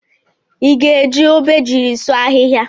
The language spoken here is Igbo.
Iga eji Obejiri sụọ ahihia?